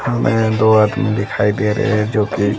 हमें दो आदमी दिखाई दे रहे हैं जोकि--